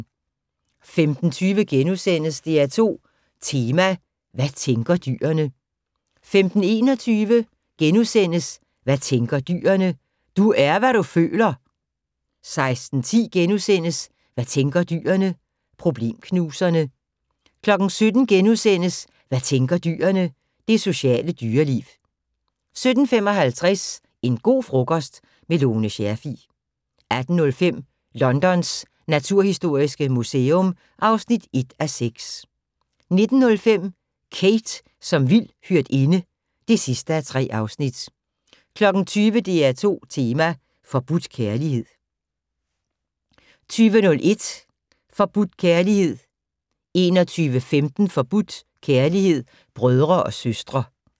15:20: DR2 Tema: Hvad tænker dyrene? * 15:21: Hvad tænker dyrene? - Du er hvad du føler! * 16:10: Hvad tænker dyrene? - Problemknuserne * 17:00: Hvad tænker dyrene? - Det sociale dyreliv * 17:55: En go' frokost - med Lone Scherfig 18:05: Londons naturhistoriske museum (1:6) 19:05: Kate som vild hyrdinde (3:3) 20:00: DR2 tema: Forbudt kærlighed 20:01: Forbudt kærlighed 21:15: Forbudt kærlighed: Brødre og søstre